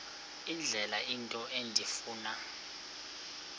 indlela into endifuna